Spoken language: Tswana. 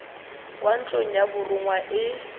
kwa ntlong ya borongwa e